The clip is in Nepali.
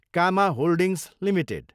comma holdings Ltd